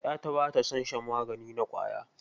Ƴata ba ta son shan magani na ƙwaya.